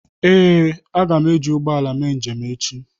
Ee, a ga m eji ụgbọ ala mee njem echi.